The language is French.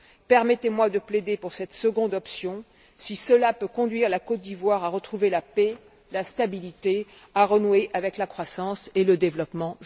Permettez moi de plaider pour cette seconde option, si cela peut conduire la Côte d'Ivoire à retrouver la paix et la stabilité, et à renouer avec la croissance et le développement.